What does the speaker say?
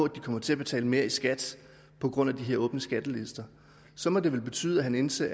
de kommer til at betale mere i skat på grund af de åbne skattelister så må det vel betyde at han anser